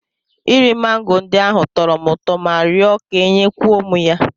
Iri mango ndị ahụ tọrọ m ụtọ ma rịọ ka e nye kwuo m ya.